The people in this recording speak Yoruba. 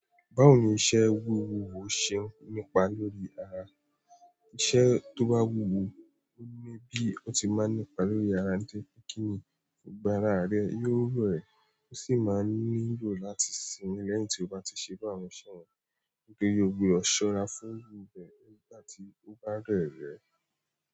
Báwo ni iṣẹ́ wúwo ò ṣe n nípa lórí ara? Iṣẹ́ tó bá wúwo, ó ni bí ó ti máa ń nípa lórí ara nitóripe kíni, gbogbo ara rẹ bẹ́ẹ̀ yóò rẹ̀ e ó sì máa ń nílò láti sinmi lẹ́yìn tí ó bá ti ṣe bi áwọn iṣẹ́ wọ̀nyí. Nítorí ó gbúdọ̀ ṣọ́ra fún un ibẹ nígbà tí ó bá dẹ̀ rẹ̀.